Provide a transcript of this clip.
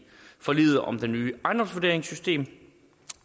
forliget om det nye ejendomsvurderingssystem